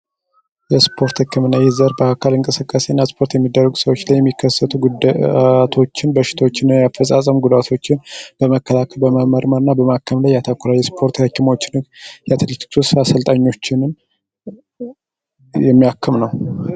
የስፖርት ሕክምናይህ ዘር በአካል እንቀስካሴእን አስፖርት የሚደረጉ ሰዎች ላይ የሚከሰቱ ጉዳቶችን በሽቶችነ ያፈፃፀም ጉዳቶችን ለመከላከ በመመርመር እና በማከም ላይ ያተኩራ የስፖርት ሕኪሞችን የተለክስ ስልጣኞችንን የሚያክም ነው።